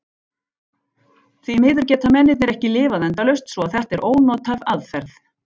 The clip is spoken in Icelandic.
Því miður geta mennirnir ekki lifað endalaust svo að þetta er ónothæf aðferð.